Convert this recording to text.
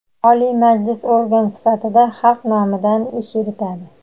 Oliy Majlis organ sifatida xalq nomidan ish yuritadi;.